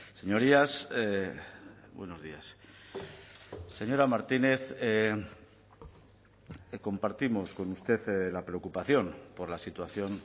señorías buenos días señora martínez compartimos con usted la preocupación por la situación